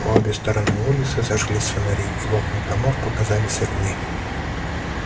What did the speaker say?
по обе стороны улицы зажглись фонари и в окнах домов показались огни